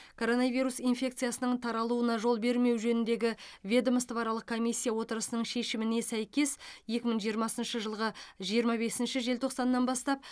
коронавирус инфекциясының таралуына жол бермеу жөніндегі ведомствоаралық комиссия отырысының шешіміне сәйкес екі мың жиырмасыншы жылғы жиырма бесінші желтоқсаннан бастап